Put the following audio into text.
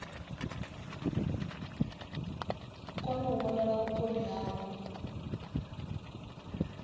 kone u vhonala vhukoni havho